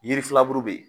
Yiri filaburu be yen